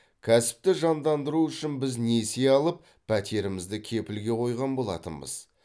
кәсіпті жандандыру үшін біз несие алып пәтерімізді кепілге қойған болатынбыз